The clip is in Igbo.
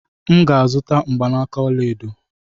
M ga-azụta mgbanaka ọla edo.